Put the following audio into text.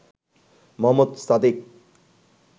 Mohammad Sadiq